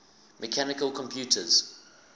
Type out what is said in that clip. mechanical computers